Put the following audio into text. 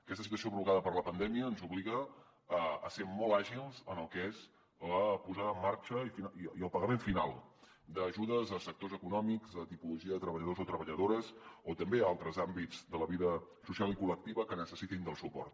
aquesta situació provocada per la pandèmia ens obliga a ser molt àgils en el que és la posada en marxa i el pagament final d’ajudes a sectors econòmics a tipologia de treballadors o treballadores o també a altres àmbits de la vida social i col·lectiva que necessitin suport